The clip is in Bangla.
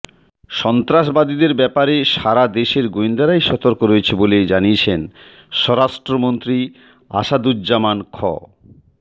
সন্ত্রাসবাদীদের ব্যাপারে সারাদেশের গোয়েন্দারাই সতর্ক রয়েছে বলে জানিয়েছেন স্বরাষ্ট্রমন্ত্রী আসাদুজ্জামান খ